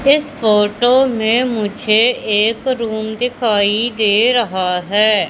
इस फोटो में मुझे एक रूम दिखाई दे रहा है।